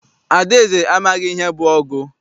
Adaeze amaghị ihe bụ ọgụ.